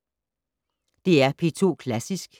DR P2 Klassisk